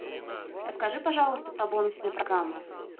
расскажи пожалуйста про бонусные программы